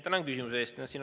Tänan küsimuse eest!